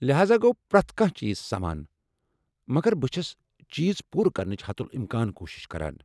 لہاذا گوٚو پرٮ۪تھ کانٛہہ چیز سمان ، مگر بہٕ چھس چیز پوٗرٕ كرنٕچہِ حتٗلامكان کوٗشش کران ۔